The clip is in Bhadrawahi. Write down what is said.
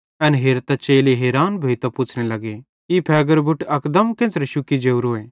एन हेरतां चेले हैरान भोइतां पुच्छ़ने लग्गे ई फ़ेगेरो बुट अकदम केन्च़रे शुक्की जोरोए